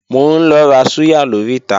Mò ń lọ ra súyà lóríta